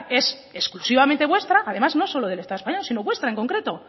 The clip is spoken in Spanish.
es exclusivamente vuestra además no solo del estado español sino vuestra en concreto